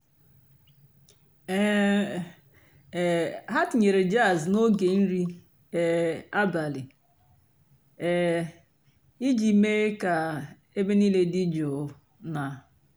um há tínyérè jàzz n'óge nrí um àbàlí um ìjì méé kà-èbè níìlé dị́ jụ́ụ́ nà.